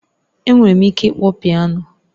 Enwere m ike ịkpọ Piano